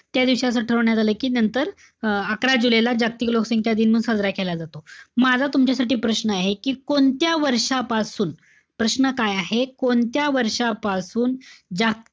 त्यादिवशी असं ठरवण्यात आलं कि नंतर अं अकरा जुलै ला जागतिक लोकसंख्या दिन म्हणून साजरा केला जातो. म आता तुमच्यासाठी प्रश्न आहे. कि कोणत्या वर्षांपासून, प्रश्न काय आहे, कोणत्या वर्षापासुन जागतिक,